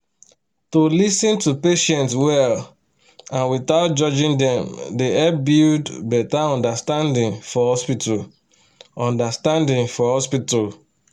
to lis ten to patients well and without judging dem dey help build better understanding for hospital. understanding for hospital.